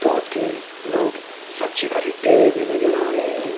दो तीन लोग सब्जी खरीदते हुए भी नजर आ रहे है।